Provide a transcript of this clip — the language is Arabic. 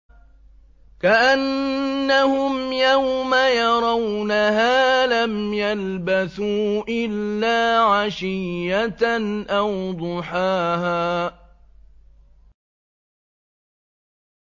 كَأَنَّهُمْ يَوْمَ يَرَوْنَهَا لَمْ يَلْبَثُوا إِلَّا عَشِيَّةً أَوْ ضُحَاهَا